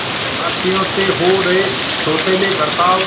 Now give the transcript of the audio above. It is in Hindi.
भारतीयों से हो रहे सौतेले बर्ताव